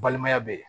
Balimaya bɛ yen